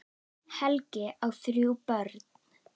Helgi á þrjú börn.